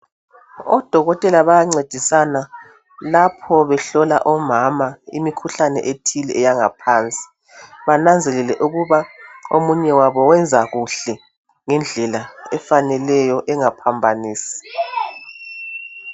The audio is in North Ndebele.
Odokotela bayancedisana lapho behlola omama imikhuhlane ethile, eyangaphansi. Benanzelele ukuba ß§thi omunye wabo wenza kuhle, ngendlela efaneleyo, engaphambanisi.